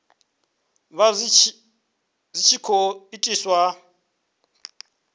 vha zwi tshi khou itiswa